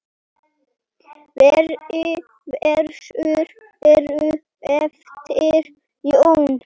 Fleiri vísur eru eftir Jón